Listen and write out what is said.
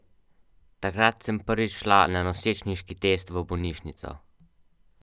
Takrat sem prvič šla na nosečniški test v bolnišnico.